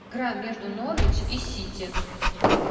игра между норвич и сити